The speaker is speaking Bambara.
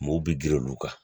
Mɔw bi girin olu kan